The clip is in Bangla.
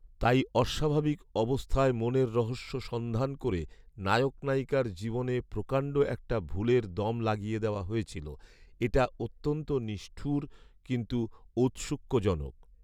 তাই অস্বাভাবিক অবস্থায় মনের রহস্য সন্ধান করে নায়ক নায়িকার জীবনে প্রকাণ্ড একটা ভুলের দম লাগিয়ে দেওয়া হয়েছিল। এটা অত্যন্ত নিষ্ঠুর কিন্তু ঔৎসুক্যজনক